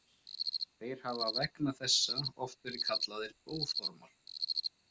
Þeir hafa vegna þessa oft verið kallaðir blóðormar.